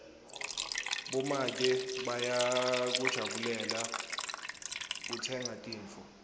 bomake bayakujabulela kutsenga tintfo